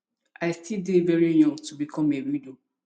i still dey very young to become a widow